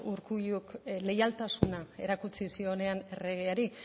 urkulluk leialtasuna erakutsi zionean erregeari